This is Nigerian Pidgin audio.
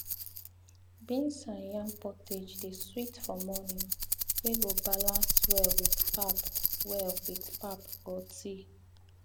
beans and yam pottage dey sweet for morning wey go balance well with pap well with pap or tea